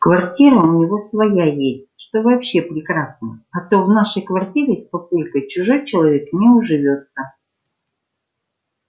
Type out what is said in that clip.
квартира у него своя есть что вообще прекрасно а то в нашей квартире с папулькой чужой человек не уживётся